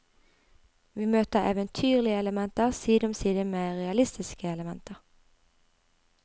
Vi møter eventyrlige elementer side om side med realistiske elementer.